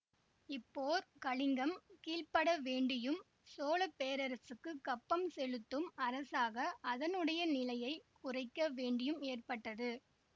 இப்போர் கலிங்கம் கீழ்ப்பட வேண்டியும் சோழ பேரரசுக்குக் கப்பம் செலுத்தும் அரசாக அதனுடைய நிலையை குறைக்க வேண்டியும் ஏற்பட்டது